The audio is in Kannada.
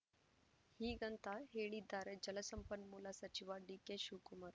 ಹೀಗಂತ ಹೇಳಿದ್ದಾರೆ ಜಲಸಂಪನ್ಮೂಲ ಸಚಿವ ಡಿ ಕೆ ಶಿವಕುಮಾರ್‌